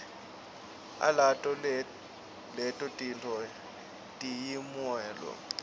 alato leto tintfo tiyimuelo